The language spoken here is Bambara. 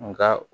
Nka